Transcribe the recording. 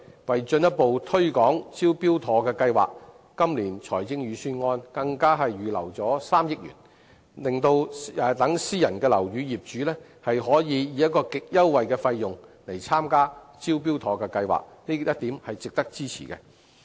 為進一步推廣"招標妥"的服務，今年財政預算案更預留了3億元，讓私人樓宇業主可以極優惠的費用使用"招標妥"服務，這一點是值得支持的。